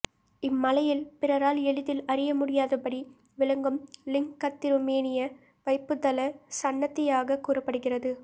இம்மலையில் பிறரால் எளிதில் அறியமுடியாதபடி விளங்கும் லிங்கத்திருமேனியே வைப்புத்தல சன்னதியாகக் கூறப்படுகிறது